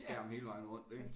Skærm hele vejen rundt ik